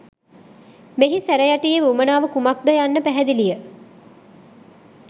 මෙහි සැරයටියේ වුවමනාව කුමක් ද යන්න පැහැදිලිය